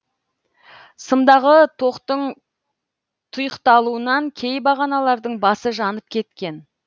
сымдағы тоқтың тұйықталуынан кей бағаналардың басы жанып кеткен